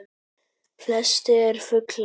Flestir fuglar